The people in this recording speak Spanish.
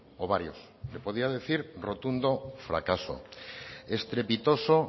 o varios le podía decir rotundo fracaso estrepitoso